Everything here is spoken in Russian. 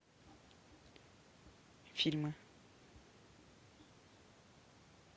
фильмы